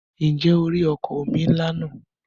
Ǹjẹ́ o rí ọkọ̀ omi ńlá náà?